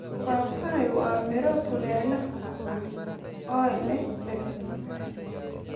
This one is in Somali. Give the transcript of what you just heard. Papaya waa miro kulaylaha ah oo leh dhadhan macaan.